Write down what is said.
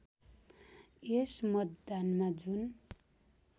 यस मतदानमा जुन